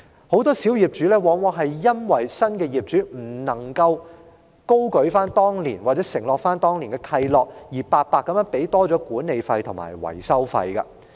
很多小業主因為新業主未有遵行或承擔當年的契諾，而要白白多支付了管理費及維修費。